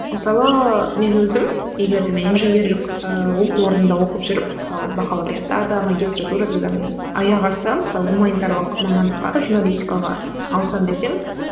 мысалы мен өзім егер де мен инженерлік ііі оқу орнында оқып жүріп мысалы бакалавриатта да магистратурада да міне аяқ асты мысалы гуманитарлық мамандыққа журналистикаға ауысамын десем